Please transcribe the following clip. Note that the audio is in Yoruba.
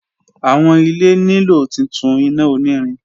Awọn ile nilo titun ina onirin